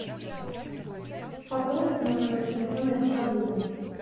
пополнить мой номер телефона из шаблона